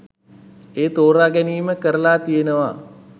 ඒ තෝරා ගැනීම කරලා තියෙනවා.